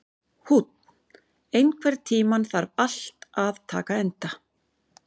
Húnn, einhvern tímann þarf allt að taka enda.